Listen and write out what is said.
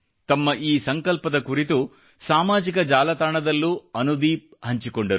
ತಮ್ಮ ಈ ಸಂಕಲ್ಪದ ಕುರಿತು ಸಾಮಾಜಿಕ ಜಾಲತಾಣದಲ್ಲೂ ಅನುದೀಪ್ ಹಂಚಿಕೊಂಡರು